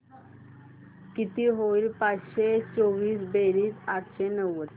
किती होईल पाचशे चोवीस बेरीज आठशे नव्वद